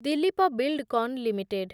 Dilip Buildcon limited